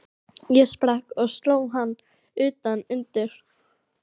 Ég sprakk og sló hann utan undir.